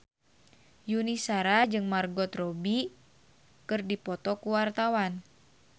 Yuni Shara jeung Margot Robbie keur dipoto ku wartawan